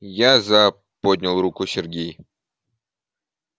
я за поднял руку сергей